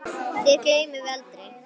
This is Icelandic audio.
Þér gleymum við aldrei.